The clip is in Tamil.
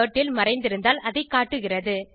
டர்ட்டில் மறைந்திருந்தால் அதைக் காட்டுகிறது